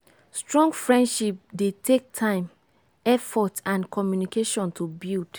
strong friendship dey take time effort and communication to build